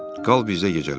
Qal bizdə gecələ.